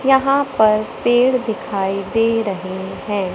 यहां पर पेड़ दिखाई दे रहे हैं।